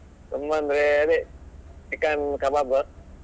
ತುಂಬಾ ಅಂದ್ರೆ ಅದೇ chicken kabab